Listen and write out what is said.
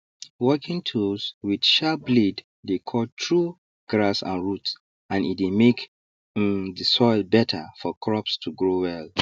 working tools with sharp blade dey cut through grass and root and e dey make um the soil better for crops to grow well